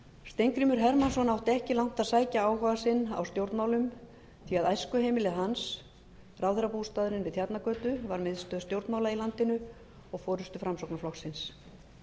steingrímur hermannsson átti ekki langt að sækja áhuga sinn á stjórnmálum því að æskuheimili hans ráðherrabústaðurinn við tjarnargötu var miðstöð stjórnmála í landinu og forustu framsóknarflokksins